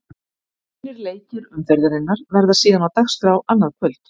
Hinir leikir umferðarinnar verða síðan á dagskrá annað kvöld.